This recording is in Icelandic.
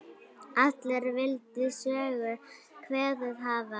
Allir vildu Sögu kveðið hafa.